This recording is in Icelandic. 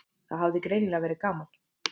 Það hafði greinilega verið gaman.